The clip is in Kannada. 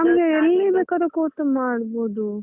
ಎಲ್ಲಿ ಬೇಕಾದ್ರೂ ಕೂತು ಮಾಡಬೋದು.